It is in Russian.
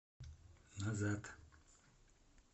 назад